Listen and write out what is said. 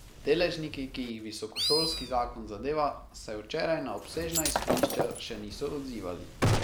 Deležniki, ki jih visokošolski zakon zadeva, se včeraj na obsežna izhodišča še niso odzivali.